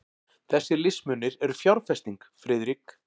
Þessir listmunir eru fjárfesting, Friðrik.